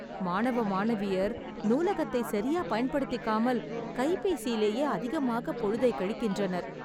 மாணவ மாணவியர் நூலகத்தை சரியா பயன்படுத்திக்காமல் கைபேசியிலேயே அதிகமாக பொழுதைக் கழிக்கின்றனர்.